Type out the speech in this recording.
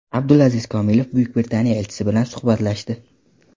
Abdulaziz Komilov Buyuk Britaniya elchisi bilan suhbatlashdi.